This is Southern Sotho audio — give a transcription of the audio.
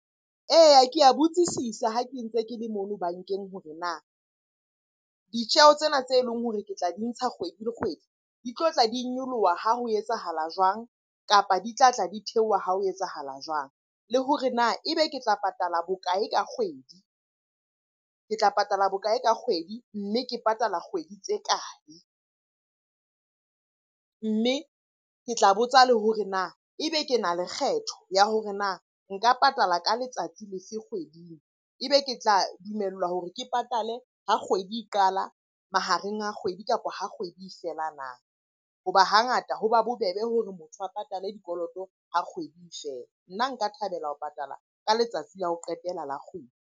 Eya, ke a botsisisa ha ke ntse ke le mona bankeng hore na ditjeho tsena tse leng hore ke tla di ntsha kgwedi le kgwedi di tlotla di nyoloha ha ho etsahala jwang? Kapa di tlatla di theoha ha ho etsahala jwang? Le hore na ebe ke tla patala bokae ka kgwedi, ke tla patala bokae ka kgwedi? Mme ke patala kgwedi tse kae? Mme ke tla botsa le hore na e be ke na le kgetho ya hore na nka patala ka letsatsi le fe kgweding? E be ke tla dumellwa hore ke patale ha kgwedi e qala, mahareng a kgwedi kapo ha kgwedi e fela na? Hoba hangata ho ba bobebe hore motho a patale dikoloto ha kgwedi e fela. Nna nka thabela ho patala ka letsatsi la ho qetela la kgwedi.